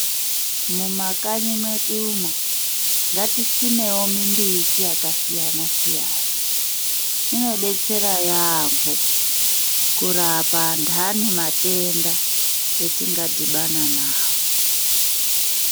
Mumakanyi mwedu umo, ngatisimewo mimbiti yakasiyana-siyana. Inodetsera yaamho, kurapa anhani matenda, atingadhibana nawo.